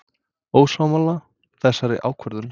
Ósammála þessari ákvörðun?